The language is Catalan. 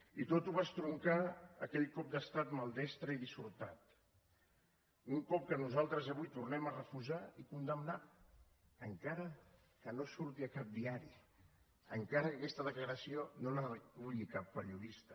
i tot ho va estroncar aquell cop d’estat maldestre i dissortat un cop que nosaltres avui tornem a refusar i condemnar encara que no surti a cap diari encara que aquesta declaració no la reculli cap periodista